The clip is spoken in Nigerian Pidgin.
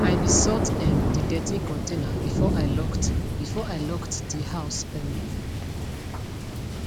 i be sort um de dirty container before i locked before i locked de house um